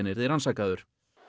yrði rannsakaður